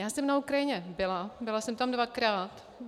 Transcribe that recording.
Já jsem na Ukrajině byla, byla jsem tam dvakrát.